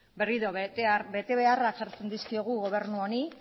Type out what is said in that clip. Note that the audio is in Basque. berriro betebeharrak jartzen dizkiogu gobernu honi